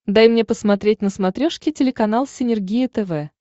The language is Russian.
дай мне посмотреть на смотрешке телеканал синергия тв